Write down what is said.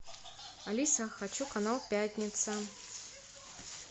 алиса хочу канал пятница